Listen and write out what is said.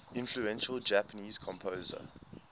influential japanese composer